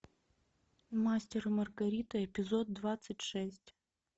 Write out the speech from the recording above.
мастер и маргарита эпизод двадцать шесть